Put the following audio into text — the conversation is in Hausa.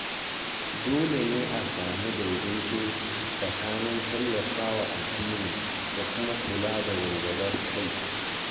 Dole ne a samu daidaito tsakanin tallafa wa addini da kuma kula da walwalar kai.